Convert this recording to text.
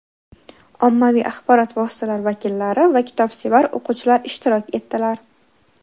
ommaviy axborot vositalari vakillari va kitobsevar o‘quvchilar ishtirok etdilar.